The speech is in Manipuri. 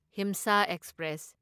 ꯍꯤꯝꯁꯥ ꯑꯦꯛꯁꯄ꯭ꯔꯦꯁ